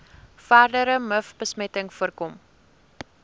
verdere mivbesmetting voorkom